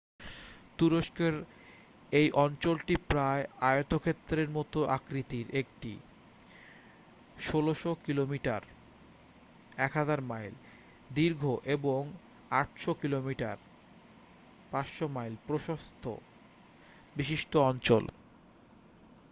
তুরস্কের এই অঞ্চলটি প্রায় আয়তক্ষেত্রের মতো আকৃতির একটি ১৬০০ কিলোমিটার ১০০০ মাইল দীর্ঘ এবং ৮০০ কিলোমিটার ৫০০ মাইল প্রস্থ বিশিষ্ট অঞ্চল।